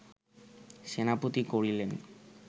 সেনাপতি করিলেন